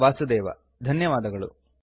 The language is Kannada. ಇಲ್ಲಿಯವರೆಗೆ ನಮ್ಮ ಜೊತೆಗೆ ಇದ್ದಿದ್ದಕ್ಕೆ ಧನ್ಯವಾದಗಳು